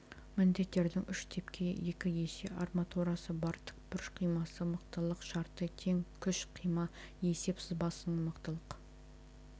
міндеттердің үш типі екі есе арматурасы бар тікбұрыш қимасы мықтылық шарты тең күш қима есеп сызбасының мықтылық